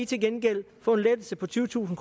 til gengæld få en lettelse på tyvetusind